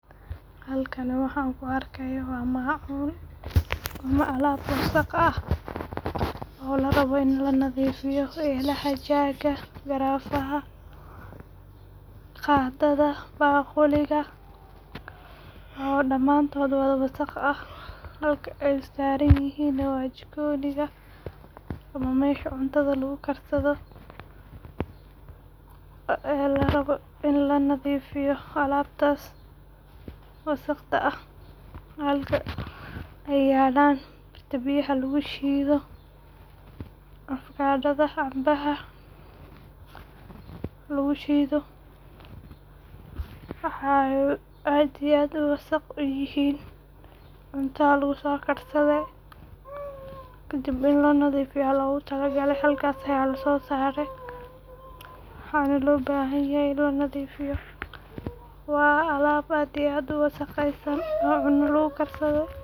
Halkan waxan ku arkaya waa maacun ama alaab wasaq ah. Waa muhiim in la dhaqdo weelasha si loo ilaaliyo nadaafadda guriga iyo caafimaadka qoyska, waayo weelasha aan la dhaqin waxay noqon karaan meel ay ku tarmaan bakteeriyada iyo jeermiska keena cudurrada. Marka hore, waa in la soo ururiyaa dhammaan weelasha la isticmaalay sida saxamada, koobabka, mindiyaha, fargeetada, digsiyada iyo maraqa, kadibna lagu rido meel loogu talagalay dhaqidda si aanay u kala firdhin. Biyaha diirran ayaa muhiim u ah in lagu bilowdo, maxaa yeelay waxay caawiyaan in dufanka iyo wasakhda si fudud uga baxaan. Isticmaal saabuunta lagu dhaqdo weelasha si ay u disho jeermiska kana dhigto weelka mid nadiif ah oo u diyaarsan in mar kale la isticmaalo. Marka la dhaqo, weelasha waa in si fiican loo dhaqaa iyadoo la hubinayo in aanay wax wasakh ah ka hadhin, kadibna lagu dhaqo biyo nadiif ah oo qabow si looga tirtiro saabuunta harsan.